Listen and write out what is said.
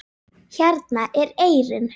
Hérna er eyrin.